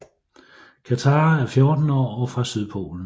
Katara er 14 år og fra Sydpolen